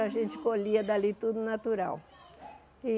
A gente colhia dali tudo natural.